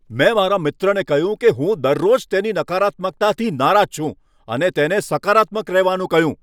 મેં મારા મિત્રને કહ્યું કે હું દરરોજ તેની નકારાત્મકતાથી નારાજ છું અને તેને સકારાત્મક રહેવાનું કહ્યું.